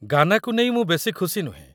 ଗାନା'କୁ ନେଇ ମୁଁ ବେଶୀ ଖୁସି ନୁହେଁ।